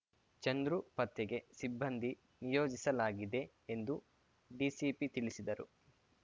ಚಂದ್ರು ಪತ್ತೆಗೆ ಸಿಬ್ಬಂದಿ ನಿಯೋಜಿಸಲಾಗಿದೆ ಎಂದು ಡಿಸಿಪಿ ತಿಳಿಸಿದರು